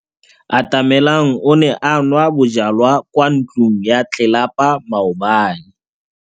Atamelang o ne a nwa bojwala kwa ntlong ya tlelapa maobane.